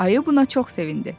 Ayı buna çox sevindi.